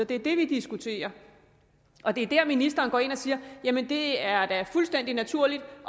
det er det vi diskuterer og det er der ministeren går ind og siger jamen det er da fuldstændig naturligt